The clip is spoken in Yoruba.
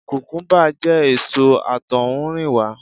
Kukumuba jẹ́ èso àtohunrìnwa.